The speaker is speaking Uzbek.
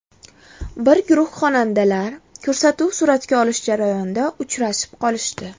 Bir guruh xonandalar ko‘rsatuv suratga olish jarayonida uchrashib qolishdi.